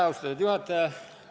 Austatud juhataja!